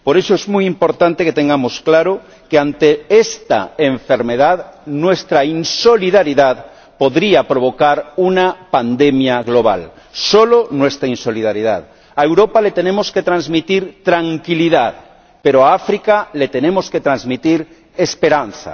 Por eso, es muy importante que tengamos claro que, ante esta enfermedad, nuestra insolidaridad podría provocar una pandemia global solo nuestra insolidaridad. A Europa le tenemos que transmitir tranquilidad, pero a África le tenemos que transmitir esperanza.